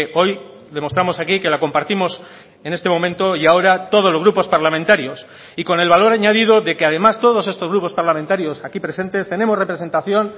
hoy demostramos aquí que la compartimos en este momento y ahora todos los grupos parlamentarios y con el valor añadido de que además todos estos grupos parlamentarios aquí presentes tenemos representación